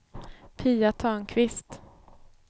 Pia Törnqvist